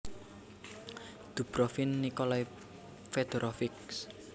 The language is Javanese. Dubrovin Nikolai Fedorovich